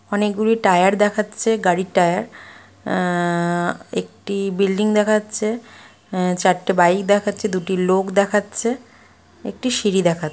অনেকগুলি টায়ার দেখাচ্ছেগাড়ির টায়ার আ একটি বিল্ডিং দেখা হচ্ছে আ চারটে বাইক দেখাচ্ছে দুটি লোক দেখাচ্ছেএকটি সিঁড়ি দেখা--